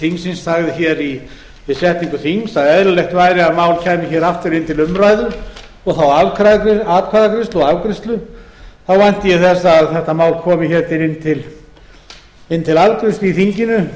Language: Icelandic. þingsins sagði hér við setningu þings að eðlilegt væri að mál kæmu hér aftur inn til umræðu og þá atkvæðagreiðslu og afgreiðslu vænti ég þess að þetta mál komi hér inn til afgreiðslu í þinginu